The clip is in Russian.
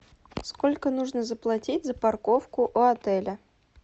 сколько нужно заплатить за парковку у отеля